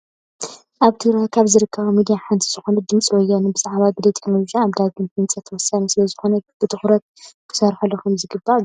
ኣብ ትግራይ ካብ ዝርከባ ሚድያ ሓንቲ ዝኮነት ድምፂ ወያኔ ብዛዕባ ግደ ቴክኖሊጂ ኣብ ዳግመ ህንፀትወሳኒ ስለዝኮነ ብትኩረት ክስረሓሉ ከምዝግባእ ገሊፁ።